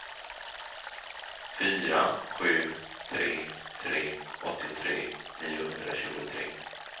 fyra sju tre tre åttiotre niohundratjugotre